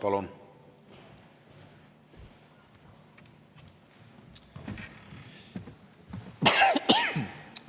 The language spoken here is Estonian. Palun!